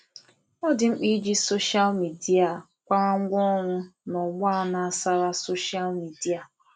Ọ dị mkpa iji soshal midia kwarangwa ọrụ n'ọgbọ a na-ásàrá soshal midia.